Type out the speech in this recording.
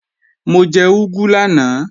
Mo jẹ úgú lánàá